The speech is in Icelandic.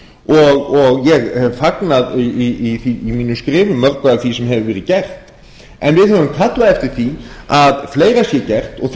og ég hef fagnað í mínum skrifum mörgu af því sem hefur verið gert en við höfum kallað eftir því að fleira sé gert og